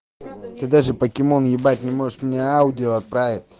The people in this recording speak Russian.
ты даже покемон ебать не можешь мне аудио отправить